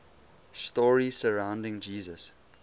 stories surrounding jesus